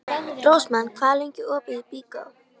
Rósmann, hvað er lengi opið í Byko?